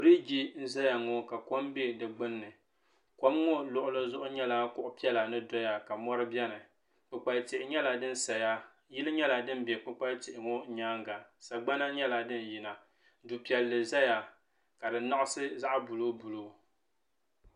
Biriji n zaya ŋɔ ka kom be di gbinni kom ŋɔ luɣuli zuɣu nyɛla kuɣu piɛla ni doya ka mori biɛni kpukpal'tihi nyɛla din saya yili nyɛla di be kpukpal'tihi ŋɔ nyaanga sagbana nyɛla din yina du'pilli zaya ka di naɣisi zaɣa buluu buluu.